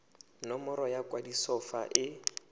nomoro ya kwadiso fa e